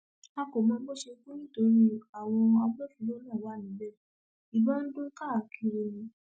a kò mọ bó ṣe kú nítorí àwọn agbófinró náà wà níbẹ ìbọn ń dún káàkiri ni